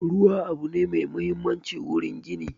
Ruwa abu ne mai mahimmanci wurin gini